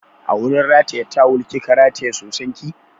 A wurin rataye tawal kika rataye soson ki?